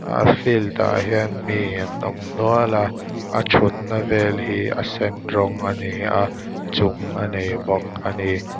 a field ah hian mi an awm nual a a thut na vel hi a sen rawng ani a chung a nei bawk ani.